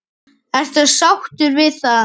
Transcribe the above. Ertu sáttur við það?